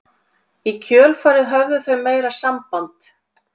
Í kjölfarið höfðu þau meira samband